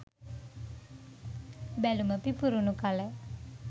බැලුම පිපුරුණු කල